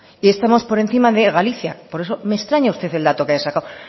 y estamos por encima de galicia por eso me extraña usted el dato que ha sacado